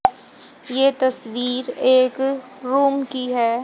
ये तस्वीर एक रूम की है।